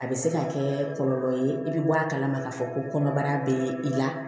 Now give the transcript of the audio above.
A bɛ se ka kɛ kɔlɔlɔ ye i bɛ bɔ a kalama k'a fɔ ko kɔnɔbara bɛ i la